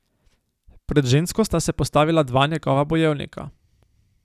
Pred žensko sta se postavila dva njegova bojevnika.